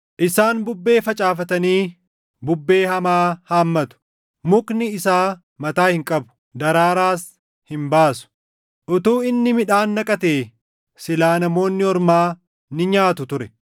“Isaan bubbee facaafatanii bubbee hamaa haammatu. Mukni isaa mataa hin qabu; daraaraas hin baasu. Utuu inni midhaan naqatee silaa namoonni ormaa ni nyaatu ture.